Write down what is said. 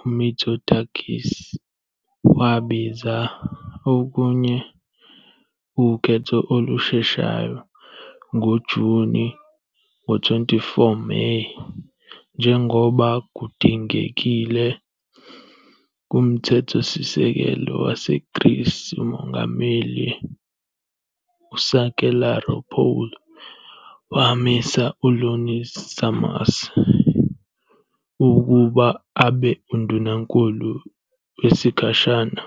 uMitsotakis wabiza okunye ukhetho olusheshayo ngoJuni. Ngo-24 Meyi, njengoba kudingekile kumthethosisekelo waseGreece, uMongameli uSakellaropoulou wamisa U-Ioannis Sarmas ukuba abe undunankulu wesikhashana.